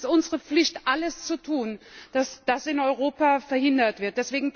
Es ist unsere Pflicht, alles zu tun, dass das in Europa verhindert wird!